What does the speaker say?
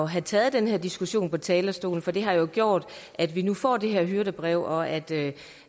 have taget den her diskussion fra talerstolen for det har gjort at vi nu får det her hyrdebrev og at